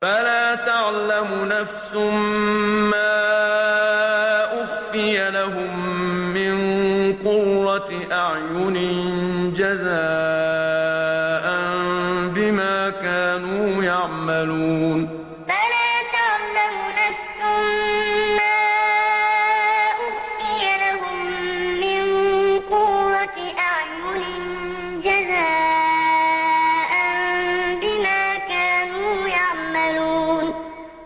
فَلَا تَعْلَمُ نَفْسٌ مَّا أُخْفِيَ لَهُم مِّن قُرَّةِ أَعْيُنٍ جَزَاءً بِمَا كَانُوا يَعْمَلُونَ فَلَا تَعْلَمُ نَفْسٌ مَّا أُخْفِيَ لَهُم مِّن قُرَّةِ أَعْيُنٍ جَزَاءً بِمَا كَانُوا يَعْمَلُونَ